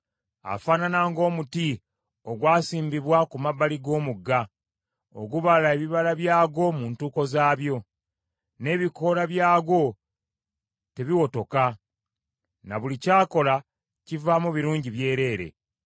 Afaanana ng’omuti ogwasimbibwa ku mabbali g’omugga, ogubala ebibala byagwo mu ntuuko zaabyo, n’ebikoola byagwo tebiwotoka. Na buli ky’akola kivaamu birungi byereere.